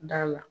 Da la